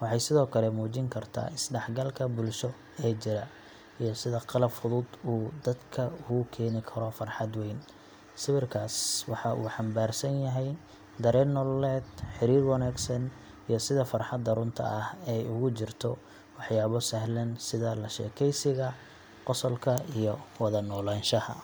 Waxay sidoo kale muujin kartaa isdhexgalka bulsho ee jira, iyo sida qalab fudud uu dadka ugu keeni karo farxad weyn. Sawirkaas waxa uu xambaarsan yahay dareen nololeed, xiriir wanaagsan, iyo sida farxadda runta ah ay ugu jirto waxyaabo sahlan sida la sheekaysiga, qosolka iyo wada noolaanshaha.